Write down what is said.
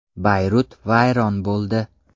Bayrut vayron bo‘ldi.